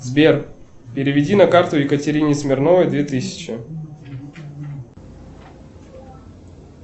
сбер переведи на карту екатерине смирновой две тысячи